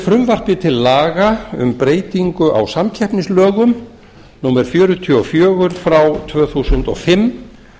frumvarpi til laga um breytingu á samkeppnislögum númer fjörutíu og fjögur tvö þúsund og fimm